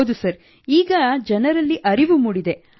ಹೌದು ಸರ್ ಈಗ ಜನರಲ್ಲಿ ಅರಿವು ಮೂಡಿದೆ